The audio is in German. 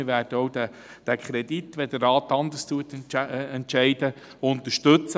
Sollte der Rat anders entscheiden, würden wir den Kredit auch unterstützen.